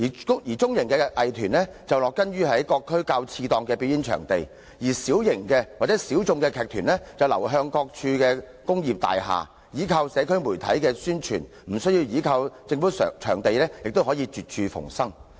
至於中型藝團則植根於各區較次檔表演場地，小型及小眾藝團則流向各區工業大廈，依靠社交媒體的宣傳，無需依靠政府場地亦可絕處逢生。